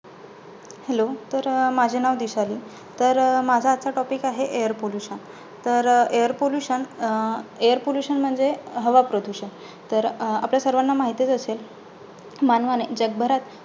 Hello तर, माझे नाव दिशाली. तर, माझा आजचा topic आहे, air pollution तर अं air pollution, Air pollution म्हणजे हवा प्रदूषण. तर अं आपल्या सर्वांना माहितचं असेल? मानवाने जगभरात